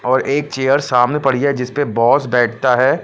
और एक चेयर सामने पड़ी है जिस पे बॉस बैठता है।